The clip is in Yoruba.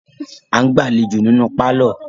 A ǹ gbà aléjo nínú parlor